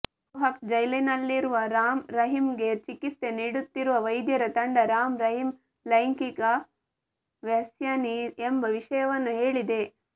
ರೋಹ್ಟಕ್ ಜೈಲಿನಲ್ಲಿರುವ ರಾಮ್ ರಹೀಂಗೆ ಚಿಕಿತ್ಸೆ ನೀಡುತ್ತಿರುವ ವೈದ್ಯರ ತಂಡ ರಾಮ್ ರಹೀಂ ಲೈಂಗಿಕ ವ್ಯಸನಿ ಎಂಬ ವಿಷ್ಯವನ್ನು ಹೇಳಿದೆ